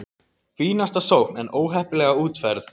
Fínasta sókn en óheppilega útfærð!